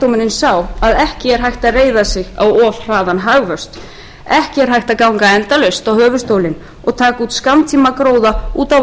ekki er hægt að reiða sig á of hraðan hagvöxt ekki er hægt að ganga endalaust á höfuðstólinn og taka út skammtímagróða út á